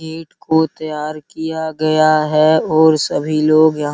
ईट को तैयार किया गया है और सभी लोग यहां --